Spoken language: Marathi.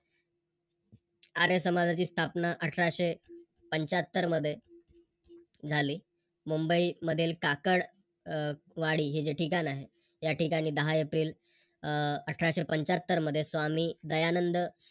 आर्य समाजाची स्थापना अठराशे पंच्यात्तर मध्ये झाली. मुंबई मधील टाकळवाडी हे जे ठिकाण आहे या ठिकाणी दहा अह एप्रिल अठराशे पंच्यात्तर मध्ये स्वामी दयानंद